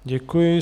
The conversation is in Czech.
Děkuji.